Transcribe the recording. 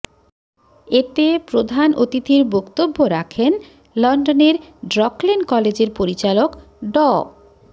এতে প্রধান অতিথির বক্তব্য রাখেন লন্ডনের ড্রকলেন কলেজের পরিচালক ড